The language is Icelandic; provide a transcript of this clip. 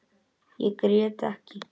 Ég grét ekki.